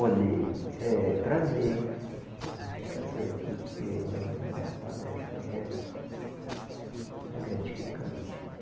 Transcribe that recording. Olhe, é prazer a gente estar por aqui porque, olhe, uma palestra dessa é gratificante.